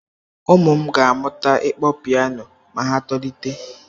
Ụm ụ m ga-amụta ịkpọ piano ma ha tolite.